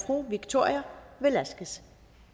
fru victoria velasquez